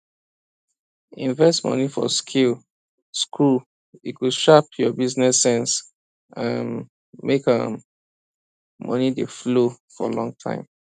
invest money for skill school e go sharp your business sense um make um money dey flow for long time